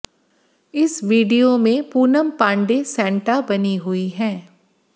इस वीडियो में पूनम पांडेय सेंटा बनी हुई हैं